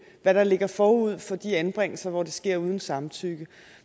hvad der ligger forud for de anbringelser hvor det sker uden samtykke